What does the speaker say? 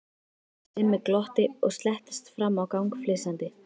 Simmi glotti og slettist fram á gang flissandi.